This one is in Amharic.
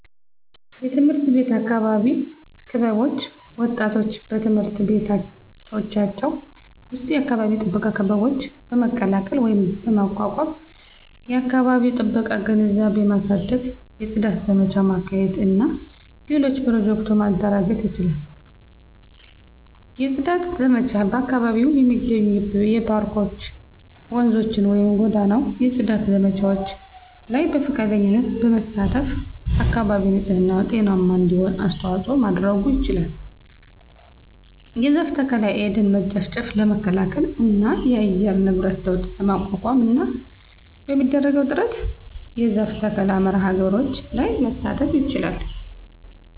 _የትምህርት ቤት የአካባቢ ክበቦች ወጣቶች በትምህርት ቤቶቻቸው ዉስጥ የአካባቢ ጥበቃ ክበቦች በመቀላቀል ወይም በማቋቋም የአከባቢ ጥበቃ ግንዛቤ ማሳደግ፣ የጽዳት ዘመቻ ማካሄድ እና ሌሎች ኘሮጀክቱ ማደራጀት ይችላሉ። የጽዳት ዘመቻ በአካባቢው የሚገኙ የፓርኮች፣፧ ወንዞችን ወይም ጎዳናው የጽዳት ዘመቻዎች ላይ በፈቃደኝነት በመሳተፍ አካባቢ ንጽህና ጤናማ እንዲሆን አስተዋጽኦ ማድረጉ ይችላል። የዛፍ ተከላ። የደን መጨፍጨፍ ለመከላከል እና የአየር ንብረት ለውጥ ለመቋቋምና በሚደረገው ጥረት የዛፍ ተከላ መርሐ ግብሮች ላይ መሳተፍ ይችላል